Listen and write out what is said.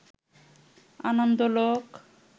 Anandalok